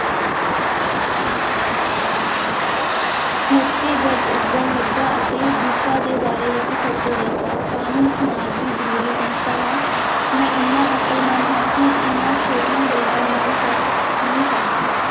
ਮੋਤੀ ਗਜ ਉੱਗਣ ਲੱਗਾ ਅਤੇ ਦਿਸ਼ਾ ਦੇ ਬਾਰੇ ਵਿੱਚ ਸੋਚਣ ਲੱਗਾ, ਕਾਨੂੰਨ ਸਮਾਜ ਦੀ ਜ਼ਰੂਰੀ ਸੰਸਥਾ ਹੈ, ਮੈਂ ਇੰਨਾ ਅਕਲਮੰਦ ਹਾਂ ਕਿ ਇਹਨਾਂ ਛੋਟੀਆਂ ਗੱਲਾਂ ਨਾਲ ਫਸ ਨਹੀਂ ਸਕਦਾ।